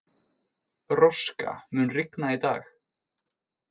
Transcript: Róska, mun rigna í dag?